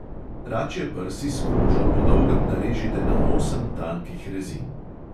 Račje prsi s kožo po dolgem narežite na osem tankih rezin.